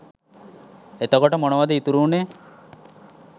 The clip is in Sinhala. එතකොට මොනවාද ඉතුරු වුනේ